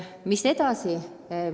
Mis edasi?